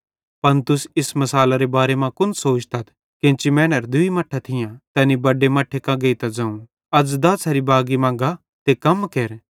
पन तुस इस मिसालरे बारे मां कुन सोचतथ केन्ची मैनेरां दूई मट्ठां थियां तैनी बड्डे मट्ठे कां गेइतां ज़ोवं अज़ दाछ़री बागी मां गा ते कम केर